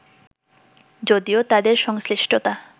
যদিও তাদের সংশ্লিষ্টতা